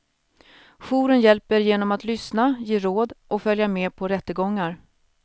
Jouren hjälper genom att lyssna, ge råd och följa med på rättegångar.